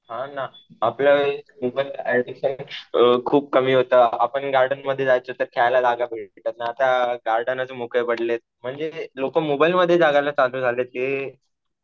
हा ना. आपल्या खूप कमी होतं. आपण गार्डन मध्ये जायचो तर खेळायला जागा भेटायची नाही. आता गार्डनच मोकळे पडले. म्हणजे लोक मोबाईलमध्ये जगायला चालू झालेत. हे